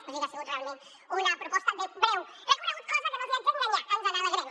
o sigui que ha sigut realment una proposta de breu recorregut cosa de la qual no els haig d’enganyar ens alegrem